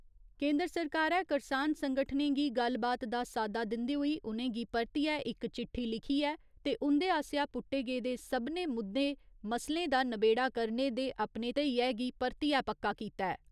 केन्द्र सरकारै करसान संगठनें गी गल्लबात दा साद्दा दिन्दे होई उ'नेंगी परतियै इक चिट्ठी लिखी ऐ ते उं'दे आसेआ पुट्टे गेदे सभनें मुद्दे मसलें दा नबेड़ा करने दे अपने धेइयै गी परतियै पक्का कीता ऐ।